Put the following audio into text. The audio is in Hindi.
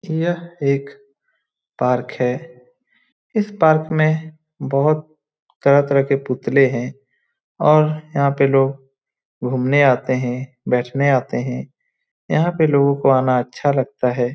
यह एक पार्क है इस पार्क में बहोत तरह-तरह के पुतले हैं और यहाँ पे लोग घूमने आते हैं बैठने आते हैं यहाँ पे लोगों को आना अच्छा लगता है।